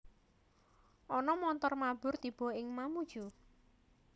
Ono montor mabur tibo ning Mamuju